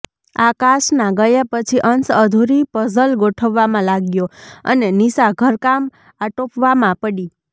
આકાશના ગયા પછી અંશ અધૂરી પઝલ ગોઠવવામાં લાગ્યો અને નિશા ઘરકામ આટોપવામાં પડી